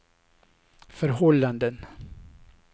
förhållanden